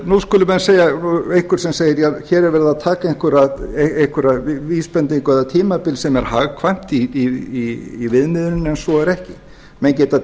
nú skulum við segja nú er einhver sem segir hér er verið að taka einhverja vísbendingu eða tímabil sem er hagkvæmt í viðmiðuninni en svo er ekki menn geta